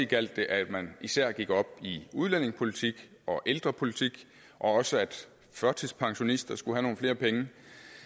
gjaldt at man især gik op i udlændingepolitik og ældrepolitik og også at førtidspensionister skulle have nogle flere penge